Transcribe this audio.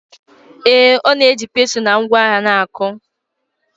Ee, ọ na-eji pestle na ngwa agha na-akụ.